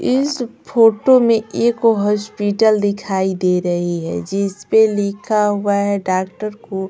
इस फोटो में एक हॉस्पिटल दिखाई दे रही है जिस पे लिखा हुआ है डॉक्टर को--